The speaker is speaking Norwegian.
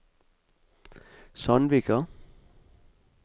Sandvika